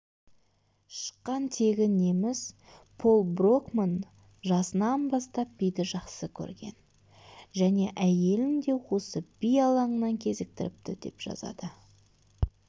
шыққан тегі неміс пол брокман жасынан бастап биді жақсы көрген және әйелін де осы би алаңынан кезіктіріпті деп жазады